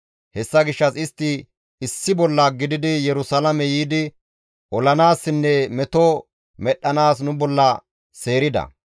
Hessa gishshas istti issi bolla gididi Yerusalaame yiidi olanaassinne meto medhdhanaas nu bolla seerida.